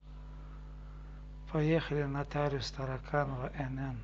поехали нотариус тараканова нн